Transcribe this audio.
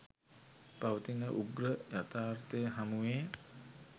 පවතින උග්‍ර යථාර්ථය හමුවේ